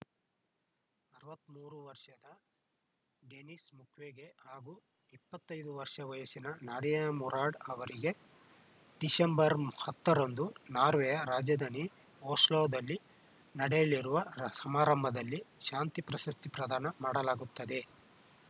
ಅರವತ್ತ್ ಮೂರು ವರ್ಷದ ಡೆನಿಸ್‌ ಮುಕ್ವೆಗೆ ಹಾಗೂ ಇಪ್ಪತ್ತೈದು ವರ್ಷ ವಯಸ್ಸಿನ ನಾಡಿಯಾ ಮುರಾಡ್‌ ಅವರಿಗೆ ಡಿಸೆಂಬರ್ ಹತ್ತರಂದು ನಾರ್ವೆಯ ರಾಜಧಾನಿ ಓಸ್ಲೋದಲ್ಲಿ ನಡೆಯಲಿರುವ ಸಮಾರಂಭದಲ್ಲಿ ಶಾಂತಿ ಪ್ರಶಸ್ತಿ ಪ್ರದಾನ ಮಾಡಲಾಗುತ್ತದೆ